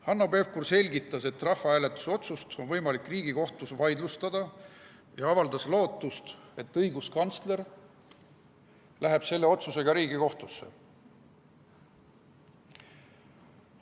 Hanno Pevkur selgitas, et rahvahääletuse otsust on võimalik Riigikohtus vaidlustada, ja avaldas lootust, et õiguskantsler läheb selle otsusega Riigikohtusse.